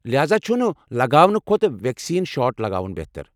لہاذا چُھ نہٕ لگاونہٕ كھوٚتہٕ ویکسیٖن شاٹ لگاوُن بہتر۔